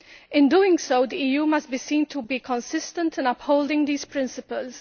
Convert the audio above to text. In doing so, the EU must be seen to be consistent in upholding these principles.